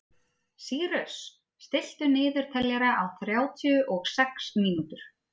Sýrus, stilltu niðurteljara á þrjátíu og sex mínútur.